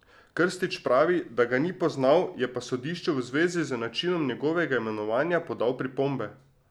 Krstić pravi, da ga ni poznal, je pa sodišču v zvezi z načinom njegovega imenovanja podal pripombe.